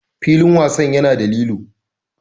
Filin wasan yana da lilo.